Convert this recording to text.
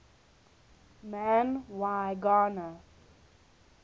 man y gana